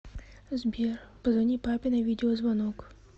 сбер позвони папе на видеозвонок